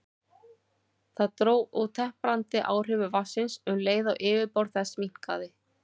Það dró úr temprandi áhrifum vatnsins um leið og yfirborð þess minnkaði.